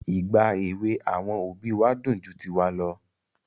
Ìgbà èwè àwọn òbí wa dùn ju tiwa lọ.